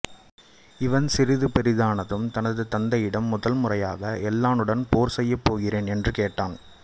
இவன் சிறிது பெரிதானதும் தனது தந்தையிடம் முதல்முறையாக எல்லாளனுடன் போர் செய்யப்போகிறேன் என்று கேட்டான்